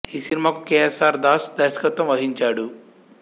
ఈ సినిమాకు K S R Das దర్శకత్వం వహించాడు